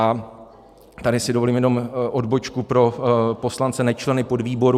A tady si dovolím jenom odbočku pro poslance nečleny podvýboru.